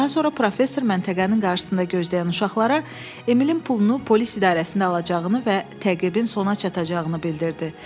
Daha sonra professor məntəqənin qarşısında gözləyən uşaqlara Emilin pulunu polis idarəsində alacağını və təqibin sona çatacağını bildirdi.